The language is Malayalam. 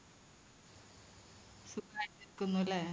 സുഖായിട്ടിരിക്കുന്നുല്ലേ? .